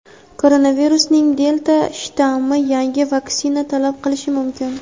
Koronavirusning "delta" shtammi yangi vaksina talab qilishi mumkin.